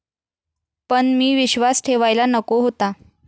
पण मी विश्वास ठेवायला नको होता.